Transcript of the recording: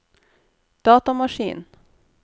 datamaskin